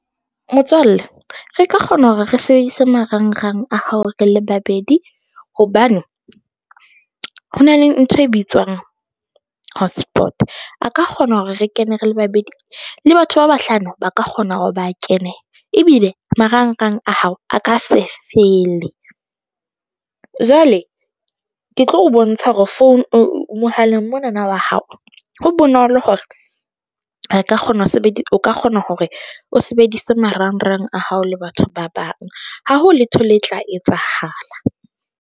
Motswalle re ka kgona hore re sebedise marang-rang a hao, re le babedi hobane ho na le ntho e bitswang hotspot, a ka kgona hore re kene re le babedi le batho ba bahlano ba ka kgona hore ba kene ebile marang-rang a hao, a ka se fele. Jwale ke tlo o bontsha hore mohaleng mona na wa hao, ho bonolo hore re ka kgona ho sebedisa, o ka kgona hore o sebedise marang-rang a hao le batho ba bang. Ha ho letho le tla etsahala.